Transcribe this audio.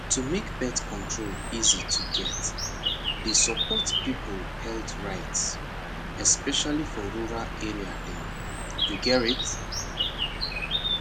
to make birth control easy to get dey support people health rights especially for rural area dem you gerrit